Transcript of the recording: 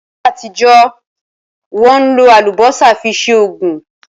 Ní ayé àtijọ́, Wọ́n ń lò Àlùbọ́sà fi ṣe Ògùn